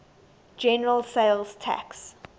general sales tax